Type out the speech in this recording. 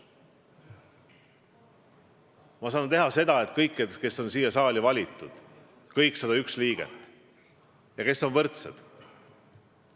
Ma saan öelda, et kõik, kes on siia saali valitud, kõik 101 liiget, on võrdsed.